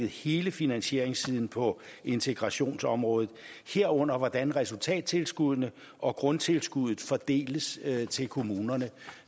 hele finansieringssiden på integrationsområdet herunder hvordan resultattilskuddene og grundtilskuddet fordeles til kommunerne